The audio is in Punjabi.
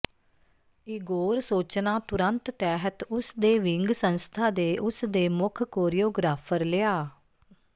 ਇਗੋਰ ਸੋਚਣਾ ਤੁਰੰਤ ਤਹਿਤ ਉਸ ਦੇ ਵਿੰਗ ਸੰਸਥਾ ਦੇ ਉਸ ਦੇ ਮੁੱਖ ਕੋਰੀਓਗ੍ਰਾਫਰ ਲਿਆ